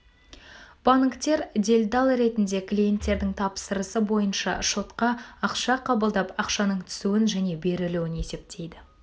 банктер делдал ретінде клиенттердің тапсырысы бойынша шотқа ақша қабылдап ақшаның түсуін және берілуін есептейді